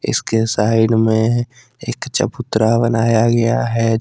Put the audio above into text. इसके साइड मे एक चबूतरा बनाया गया है जिस--